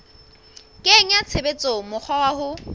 kenya tshebetsong mokgwa wa ho